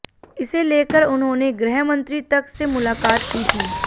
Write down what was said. इसे लेकर उन्होंने गृह मंत्री तक से मुलाकात की थी